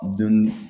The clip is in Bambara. Dɔnni